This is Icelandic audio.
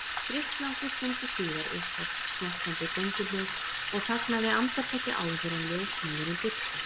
Drykklangri stundu síðar upphófst smjattandi gönguhljóð og þagnaði andartaki áður en ljósmóðirin birtist.